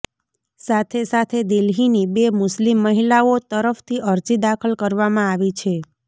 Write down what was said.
સાથે સાથે દિલ્હીની બે મુસ્લિમ મહિલાઓ તરફથી અરજી દાખલ કરવામાં આવી છે